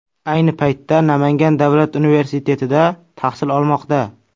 Ayni paytda Namangan davlat universitetida tahsil olmoqda.